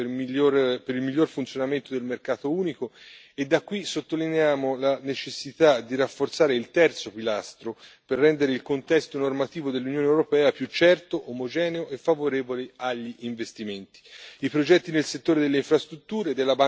Il Fondo può essere uno strumento importante per il miglior funzionamento del mercato unico e da qui sottolineiamo la necessità di rafforzare il terzo pilastro per rendere il contesto normativo dell'Unione europea più certo, omogeneo e favorevoli agli investimenti.